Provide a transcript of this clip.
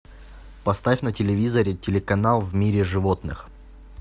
поставь на телевизоре телеканал в мире животных